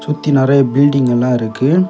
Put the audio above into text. சுத்தி நிறைய பில்டிங் எல்லாம் இருக்கு.